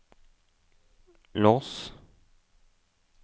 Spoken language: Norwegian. lås